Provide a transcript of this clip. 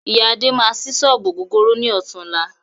Iya Adé máa sí sọ́ọ́bù ògógóró ni ọ̀tunla